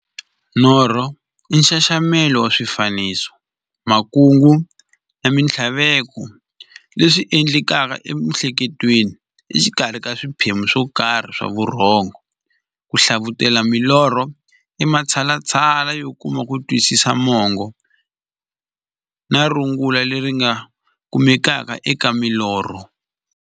Norho i nxaxamelo wa swifaniso, makungu na minthlaveko leswi ti endlekelaka emiehleketweni exikarhi ka swiphemu swokarhi swa vurhongo. Ku hlavutela milorho i matshalatshala yo kuma kutwisisa mungo na rungula leri nga kumekaka eka milorho.